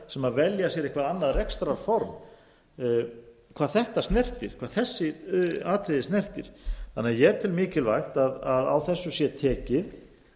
sem velja sér eitthvað annað rekstrarform hvað þetta snertir hvað þessi atriði snertir þannig að ég tel mikilvægt að á þessu sé tekið